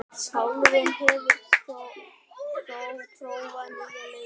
Pálrún, hefur þú prófað nýja leikinn?